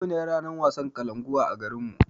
Yau ne wasan kalankuwa a garinmu